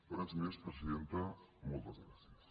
res més presidenta moltes gràcies